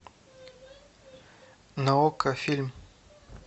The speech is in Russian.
на окко фильм